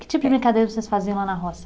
Que tipo de brincadeira vocês faziam lá na roça?